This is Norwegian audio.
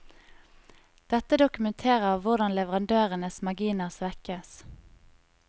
Dette dokumenterer hvordan leverandørenes marginer svekkes.